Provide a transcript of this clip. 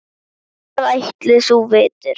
Hvað ætli þú vitir?